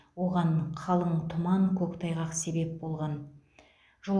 оған қалың тұман көктайғақ себеп болған